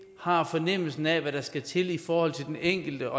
har fornemmelsen af hvad der skal til i forhold til den enkelte